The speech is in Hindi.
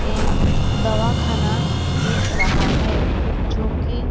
एक दवा खाना दिख रहा है जो कि--